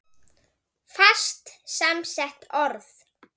Fast samsett orð